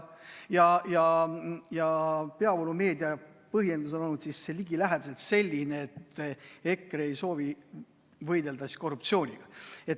Ja peavoolumeedia põhjendus on olnud ligilähedaselt selline, et EKRE ei soovi võidelda korruptsiooniga.